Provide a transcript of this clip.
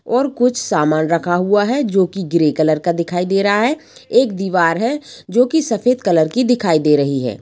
और कुछ सामान रखा हुआ है जो की ग्रे कलर का दिखाई दे रहा ह एक दीवार है जो की सफेद कलर की दिखाई दे रही है।